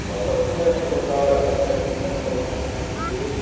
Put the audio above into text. Então, essas lideranças locais, elas recebem uma formação, um curso,